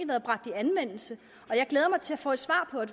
været bragt i anvendelse og jeg glæder mig til at få et svar på